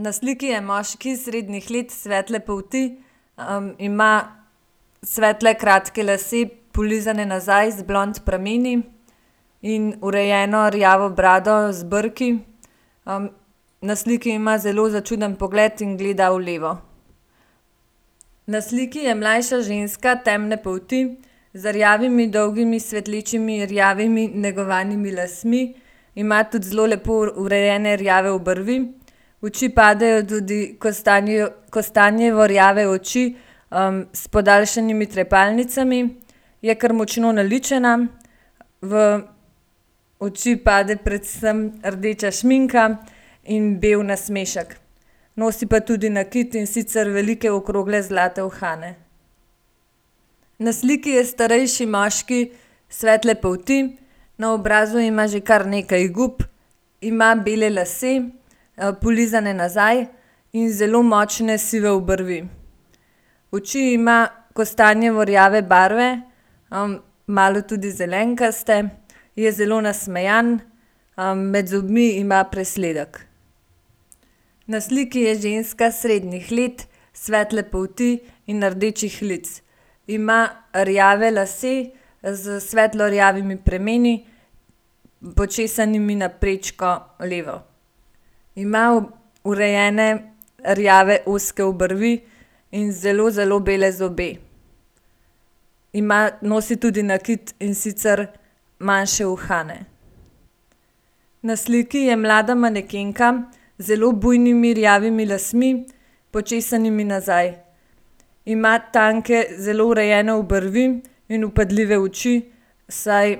Na sliki je moški srednjih let svetle polti. ima svetle, kratke lase, polizane nazaj z blond prameni in urejeno rjavo brado z brki. Na sliki ima zelo začuden pogled in gleda v levo. Na sliki je mlajša ženska temne polti z rjavimi dolgimi svetlečimi rjavimi negovanimi lasmi, ima tudi zelo lepo urejene rjave obrvi. V oči padejo tudi kostanjevo rjave oči, s podaljšanimi trepalnicami. Je kar močno naličena. V oči pade predvsem rdeča šminka in bolj nasmešek. Nosi pa tudi nakit, in sicer velike okrogle zlate uhane. Na sliki je starejši moški svetle polti. Na obrazu ima že kar nekaj gub. Ima bele lase, polizane nazaj in zelo močne sive obrvi. Oči ima kostanjevo rjave barve, malo tudi zelenkaste. Je zelo nasmejan, med zobmi ima presledek. Na sliki je ženska srednjih let svetle polti in rdečih lic. Ima rjave lase s svetlo rjavimi premeni, počesanimi na prečko levo. Ima urejene rjave ozke obrvi in zelo, zelo bele zobe. Ima, nosi tudi nakit, in sicer manjše uhane. Na sliki je mlada manekenka z zelo bujnimi rjavimi lasmi, počesanimi nazaj. Ima tanke, zelo urejene obrvi in vpadljive oči, saj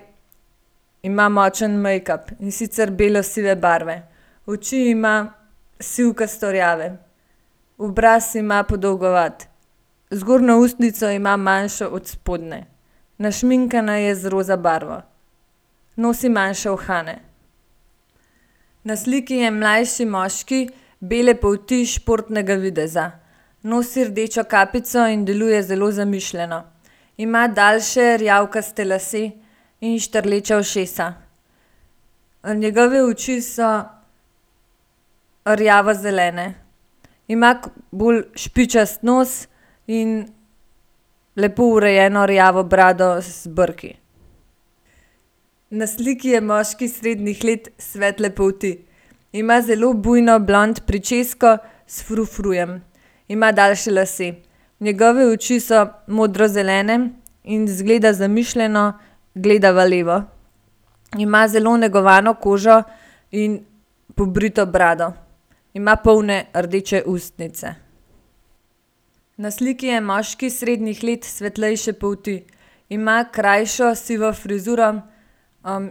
ima močen mejkap, in sicer belosive barve. Oči ima sivkasto rjave. Obraz ima podolgovat. Zgornjo ustnico ima manjšo od spodnje. Našminkana je z roza barvo. Nosi manjše uhane. Na sliki je mlajši moški bele polti športnega videza. Nosi rdečo kapico in deluje zelo zamišljeno. Ima daljše rjavkaste lase in štrleča ušesa. Njegove oči so rjavozelene. Ima bolj špičast nos in lepo urejeno rjavo brado z brki. Na sliki je moški srednjih let svetle polti. Ima zelo bujno blond pričesko s frufrujem. Ima daljše lase. Njegove oči so modrozelene in izgleda zamišljeno, gleda v levo. Ima zelo negovano kožo in pobrito brado. Ima polne rdeče ustnice. Na sliki je moški srednjih let svetlejše polti. Ima krajšo sivo frizuro,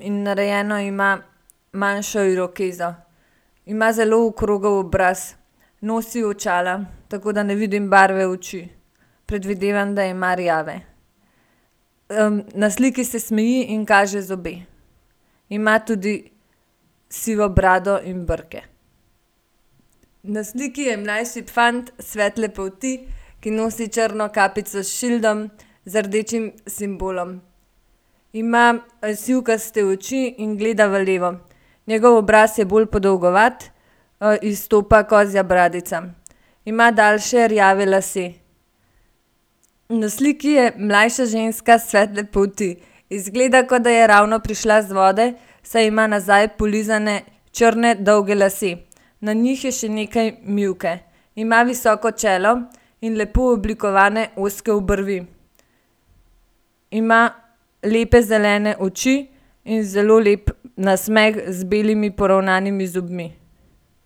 in narejeno ima manjšo irokezo. Ima zelo okrogel obraz. Nosi očala, tako da ne vidim barve oči. Predvidevam, da ima rjave. na sliki se smeji in kaže zobe. Ima tudi sivo brado in brke. Na sliki je mlajši fant svetle polti, ki nosi črno kapico s šildom z rdečim simbolom. Ima sivkaste oči in gleda v levo. Njegov obraz je bolj podolgovat, izstopa kozja bradica. Ima daljše rjave lase. Na sliki je mlajša ženska svetle polti. Izgleda, kot da je ravno prišla iz vode, saj ima nazaj polizane črne dolge lase. Na njih je še nekaj mivke. Ima visoko čelo in lepo oblikovane ozke obrvi. Ima lepe zelene oči in zelo lep nasmeh z belimi poravnanimi zobmi.